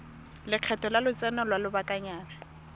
lekgetho la lotseno lwa lobakanyana